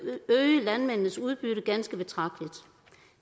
øge landmændenes udbytte ganske betragteligt